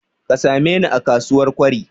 Ka sameni a kasuwar Kwari.